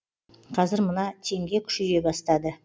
қазір мына теңге күшейе бастады